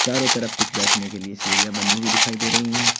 चारो तरफ कुछ बैठने के लिए सीढ़ियां बनी हुई दिखाई दे रही हैं।